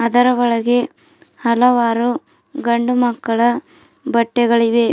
ಅದರ ಒಳಗೆ ಹಲವಾರು ಗಂಡು ಮಕ್ಕಳ ಬಟ್ಟೆಗಳಿವೆ.